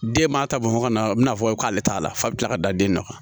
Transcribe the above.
Den b'a ta bɔ hɔkumu na a bi na fɔ k'ale t'a la f'a bi kila ka da den na